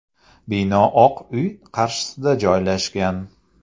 Bino Oq uy qarshisida joylashgan.